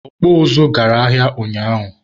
ọkpụ ụzụ gara ahịa ụnyaahụ.